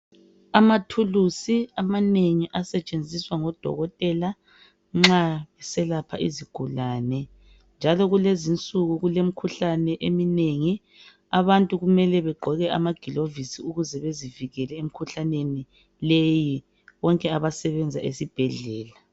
Amathulusi amanengi asetshenziswa ngodokotela nxa beselapha izigulane njalo kulezinsuku kulemikhuhlane eminengi ngakho abantu kumele bagqoke amagilovisi ukuze bazivikele emikhuhlaneni leyi bonke abasebenza ezibhedlela.